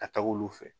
Ka taga olu fɛ